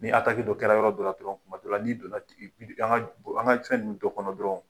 Ni dɔ kɛra yɔrɔ do la dɔrɔn, kuma dɔ la n'i donna an ka an ka fɛn ninnu dɔ kɔnɔ dɔrɔn